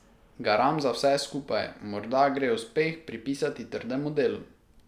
Garam za vse skupaj, morda gre uspeh pripisati trdemu delu.